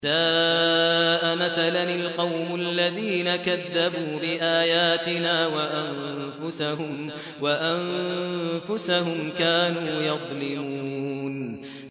سَاءَ مَثَلًا الْقَوْمُ الَّذِينَ كَذَّبُوا بِآيَاتِنَا وَأَنفُسَهُمْ كَانُوا يَظْلِمُونَ